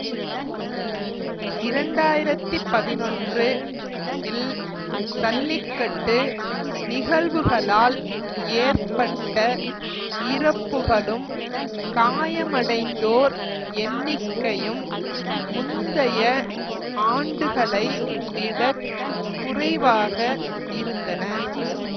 இரண்டு ஆயிரத்தி பதினொன்று இல் சல்லிக்கட்டு நிகழ்வுகளால் ஏற்பட்ட இறப்புகளும் காயமடைந்தோர் எண்ணிக்கையும் முந்தைய ஆண்டுகளை விடக் குறைவாக இருந்தன